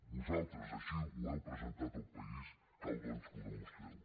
vosaltres així ho heu presentat al país cal doncs que ho demostreu